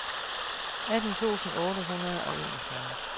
atten tusind otte hundrede og enogfyrre